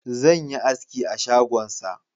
Zan yi aski a shagonsa